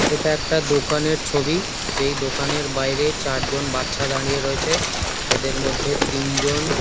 এটা একটা দোকানের ছবি যেই দোকানের বাইরে চারজন বাচ্চা দাঁড়িয়ে রয়েছে এদের মধ্যে তিনজন।